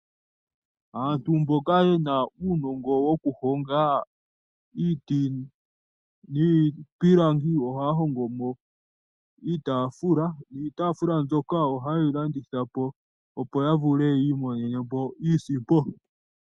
Aantu mboka yena uunongo woku honga iiti miipilangi ohaya hongomo iitafula, niitafula mbyoka ohaye yi landithapo opo ya vule yi imonene po iisimpo.